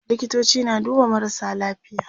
likitoci na duba marasa lafiya